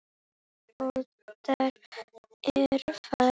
Óttar er farinn.